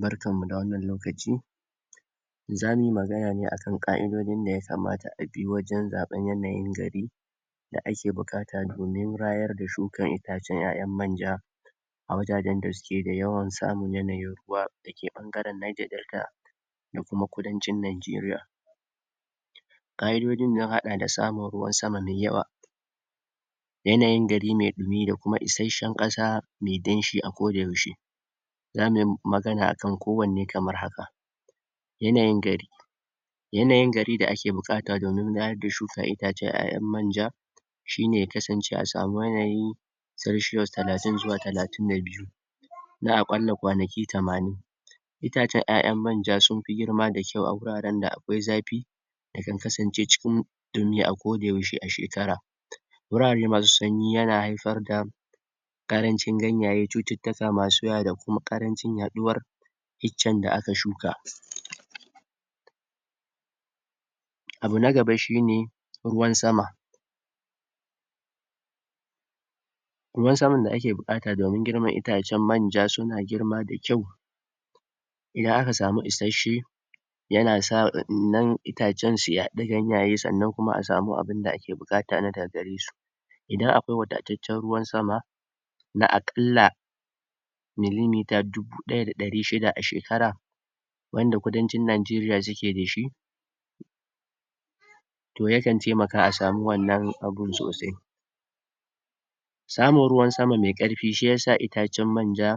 Barkammu da wannan lokaci zamuyi magana ne akan ƙa'idojin da yakamata abi wajen zaɓen yanayin gari da ake buƙata domin rayar da shukan itacen ƴaƴan manja a wajajen da suke da yawan samun yanayin ruwa dake ɓangaren Niger Delta, da kuma kudancin nanjeriya, ƙa'idodin ya haɗa da samun ruwan sama me yawa yanayin gari me ɗumi da kuma isashshen ƙasa me danshi a kodauyaushe, zamuyi magana akan kowane kamar haka: Yanayin gari yanayi gari da ake buƙata domin rayar da shukan itacen ƴaƴan manja shine ya kasance a samu yanayi selshiyos talatin zuwa talatin da biyu na a ƙalla kwanaki tamanin, itacen ƴaƴan manja sun fi girma da kyau a guraren da akwai zafi, da kan kasance cikin ɗumi a kodayaushe a shekara, wurare masu sanyi yana haifar da ƙarancin ganyaye, cututtuka masu yawa da ko ƙaranci yaɗuwar iccen da aka shuka. Abu na gaba shine: Ruwan sama Ruwan saman da ake buƙata domin girman itacen manja suna girma da kyau idan aka samu isashshe yana sa wannan itacen su yaɗa ganyaye sannan kuma a samu abunda ake buƙata na daga garesu, idan akwai wadataccen ruwan sama na a ƙalla milimita dubu ɗaya da ɗari shida a shekara wanda kudancin nanjeriya suke da shi, to yakan temaka a samu wannan abun sosai, samun ruwan sama me ƙarfi shi yasa itacen manja